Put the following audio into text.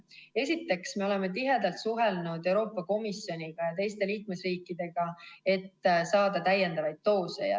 Esiteks, me oleme tihedalt suhelnud Euroopa Komisjoniga ja teiste liikmesriikidega, et saada täiendavaid doose.